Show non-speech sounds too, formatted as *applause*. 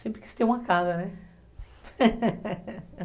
Sempre quis ter uma casa, né? *laughs*